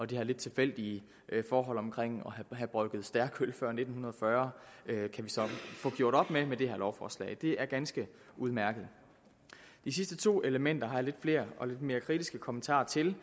de her lidt tilfældige forhold omkring at have brygget stærkt øl før nitten fyrre kan vi så få gjort op med med det her lovforslag det er ganske udmærket de sidste to elementer har jeg lidt flere og lidt mere kritiske kommentarer til